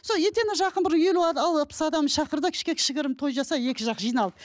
сол етене жақын бір елу алпыс адам шақыр да кішігірім той жаса екі жақ жиналып